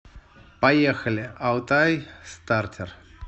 поехали алтайстартер